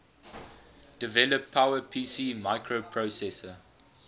develop powerpc microprocessor